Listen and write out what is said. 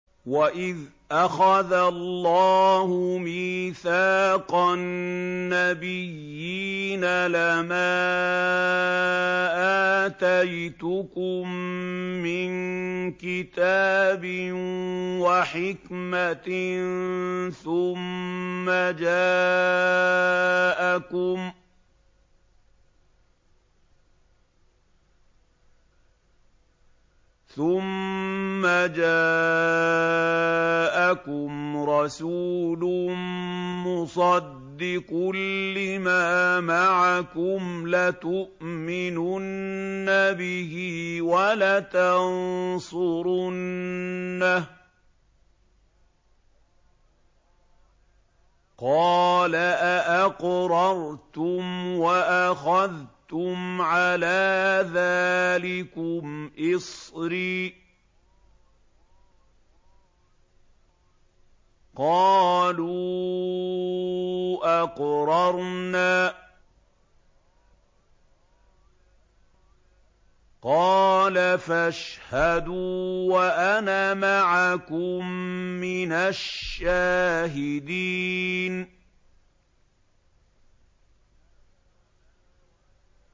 وَإِذْ أَخَذَ اللَّهُ مِيثَاقَ النَّبِيِّينَ لَمَا آتَيْتُكُم مِّن كِتَابٍ وَحِكْمَةٍ ثُمَّ جَاءَكُمْ رَسُولٌ مُّصَدِّقٌ لِّمَا مَعَكُمْ لَتُؤْمِنُنَّ بِهِ وَلَتَنصُرُنَّهُ ۚ قَالَ أَأَقْرَرْتُمْ وَأَخَذْتُمْ عَلَىٰ ذَٰلِكُمْ إِصْرِي ۖ قَالُوا أَقْرَرْنَا ۚ قَالَ فَاشْهَدُوا وَأَنَا مَعَكُم مِّنَ الشَّاهِدِينَ